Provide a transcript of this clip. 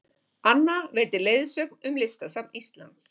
Anna veitir leiðsögn í Listasafni Íslands